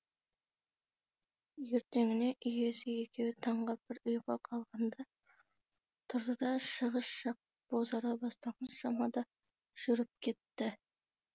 ертеңіне иесі екеуі таңға бір ұйқы қалғанда тұрды да шығыс жақ бозара бастаған шамада жүріп кетті